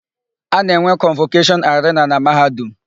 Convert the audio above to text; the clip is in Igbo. A na-enwe kọnvọkeshọn arena na Mahadum